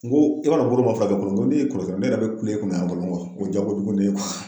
N ko i b'a dɔn bolo ma furakɛ folo n ko ne min kɔrɔsikɔrɔ ne yɛrɛ bɛ kule e kunna yan fɔlɔ o diya ko jugu ne ye.